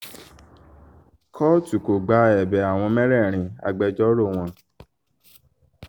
kóòtù kò gba ẹ̀bẹ̀ àwọn mẹ́rẹ̀ẹ̀rin agbẹjọ́rò wọn